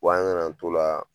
an nana t'o la